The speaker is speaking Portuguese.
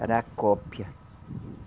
Era a cópia.